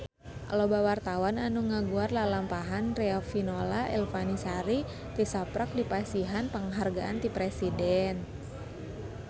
Loba wartawan anu ngaguar lalampahan Riafinola Ifani Sari tisaprak dipasihan panghargaan ti Presiden